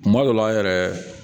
Kuma dɔ la an yɛrɛ